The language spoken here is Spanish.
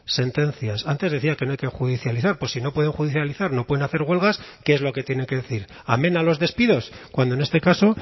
sentencias antes decía que no hay que judicializar pues si no pueden judicializar no pueden hacer huelgas qué es lo que tienen que decir amén a los despidos cuando en este caso